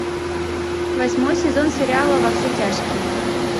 восьмой сезон сериала во все тяжкие